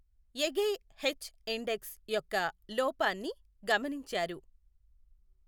Egghe H index యొక్క లోపాన్ని గమనించారు.